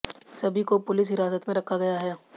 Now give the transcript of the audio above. सभी को पुलिस हिरासत में रखा गया है